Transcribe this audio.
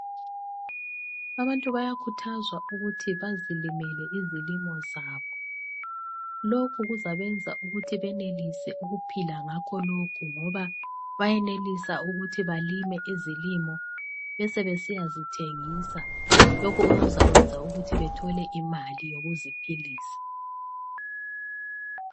Abantu bayakhuthazwa ukuthi bazilimele izilimo zabo , lokhu kuzabenza ukuthi benelise ukuphila ngakho lokhu ngoba bayenelisa ukuthi balime izilimo besebesiya zithengisa lokhu okuzakwenza ukuthi bethole imali yokuziphilisa.